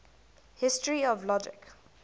history of logic